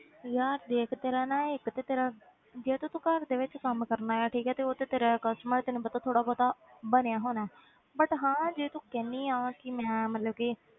ਯਾਰ ਦੇਖ ਤੇਰਾ ਨਾ ਇੱਕ ਤੇ ਤੇਰਾ ਜੇ ਤੇ ਤੂੰ ਘਰ ਦੇ ਵਿੱਚ ਕੰਮ ਕਰਨਾ ਆ ਠੀਕ ਹੈ ਤੇ ਉਹ ਤੇ ਤੇਰਾ customer ਤੈਨੂੰ ਪਤਾ ਥੋੜ੍ਹਾ ਬਹੁਤ ਬਣਿਆ ਹੋਣਾ ਹੈ but ਹਾਂ ਜੇ ਤੂੰ ਕਹਿੰਦੀ ਹਾਂ ਕਿ ਮੈਂ ਮਤਲਬ ਕਿ